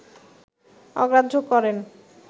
অগ্রাহ্য করেন